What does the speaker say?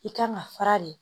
I kan ka fara de